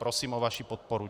Prosím o vaši podporu.